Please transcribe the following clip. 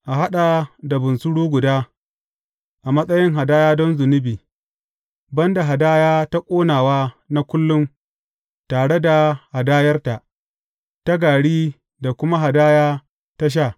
A haɗa da bunsuru guda, a matsayin hadaya don zunubi, ban da hadaya ta ƙonawa na kullum tare da hadayarta, ta gari da kuma hadaya ta sha.